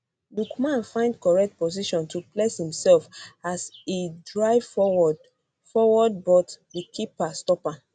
lookman find correct position to place imsef as e drive forward forward but di keeper stop am